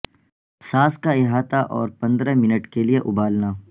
ساس کا احاطہ اور پندرہ منٹ کے لئے ابالنا